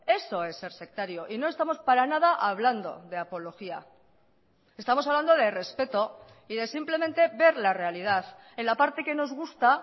eso es ser sectario y no estamos para nada hablando de apología estamos hablando de respeto y de simplemente ver la realidad en la parte que nos gusta